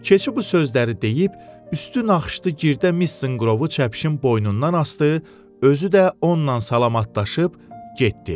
Keçi bu sözləri deyib üstü naxışlı girdə mis zınqırovu çəpişin boynundan asdı, özü də onunla salamlaşıb getdi.